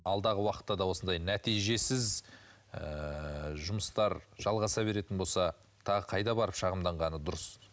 алдағы уақытта да осындай нәтижесіз ыыы жұмыстар жалғаса беретін болса тағы қайда барып шағымданғаны дұрыс